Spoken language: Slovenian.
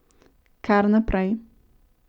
Kar naprej!